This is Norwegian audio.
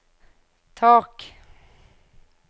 tak